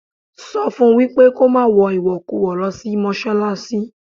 Sọ fún wípé kó má wọ ìwọ̀kuwọ̀ lọ sí Mọ́ṣálásí.